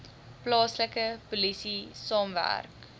plaaslike polisie saamwerk